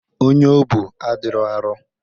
Onye o bu adirọ arọ.